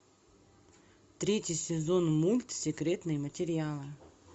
третий сезон мульт секретные материалы